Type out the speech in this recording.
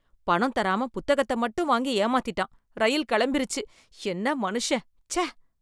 பணம் தராம புத்தகத்த மட்டும் வாங்கி ஏமாத்திட்டான், ரயில் கெளம்பிருச்சு, என்ன மனுஷன். சே!